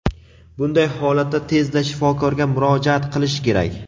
Bunday holatda tezda shifokorga murojaat qilish kerak.